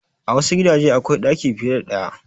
A wassu gidaje akwai ɗaki fiye da ɗaya